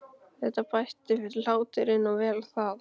Þetta bætti fyrir hláturinn og vel það.